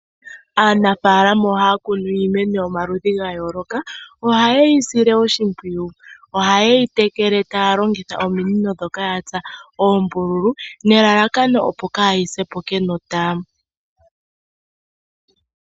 Aanafaalama ohaya kunu iimeno yomaludhi ga yooloka. Ohaye sile oshimpwiyu, ohaye yi tekele taya longitha ominino ndhoka ya tsa oombululu nelalakano opo kaayi se po kenota.